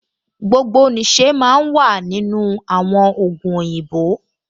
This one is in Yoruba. Gbogbo nìṣe máa ń wà nínú àwọn ògùn òyìnbó